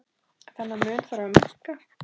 Þennan mun þarf að minnka.